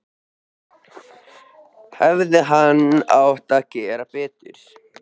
Hefði hann ekki átt að gera betur?